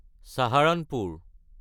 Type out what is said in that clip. Saharanpur